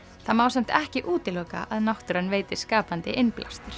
það má samt ekki útiloka að náttúran veiti skapandi innblástur